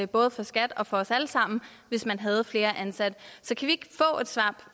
både for skat og for os alle sammen hvis man havde flere ansatte